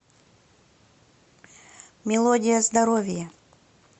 мелодия здоровья